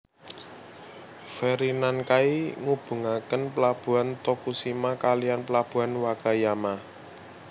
Feri Nankai ngubungaken Pelabuhan Tokushima kalihan Pelabuhan Wakayama